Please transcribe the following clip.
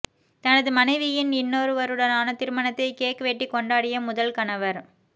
தனது மனைவியின் இன்னொரவருடனான திருமணத்தை கேக் வெட்டி கொண்டாடிய முதல் கணவர்